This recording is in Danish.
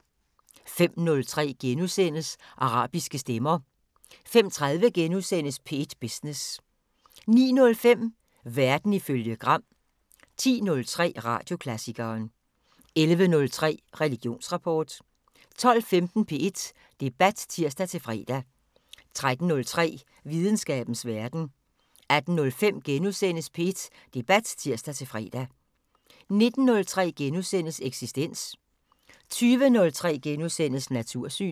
05:03: Arabiske stemmer * 05:30: P1 Business * 09:05: Verden ifølge Gram 10:03: Radioklassikeren 11:03: Religionsrapport 12:15: P1 Debat (tir-fre) 13:03: Videnskabens Verden 18:05: P1 Debat *(tir-fre) 19:03: Eksistens * 20:03: Natursyn *